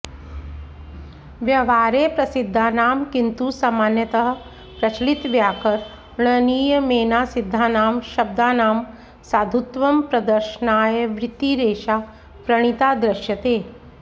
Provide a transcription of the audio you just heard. व्यवहारे प्रसिद्धानां किन्तु सामान्यतः प्रचलितव्याकरणनियमेनासिद्धानां शब्दानां साधुत्वंप्रदर्शनाय वृत्ति रेषा प्रणीता दृश्यते